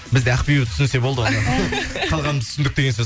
бізде ақбибі түсінсе болды қалғанымыз түсіндік деген сөз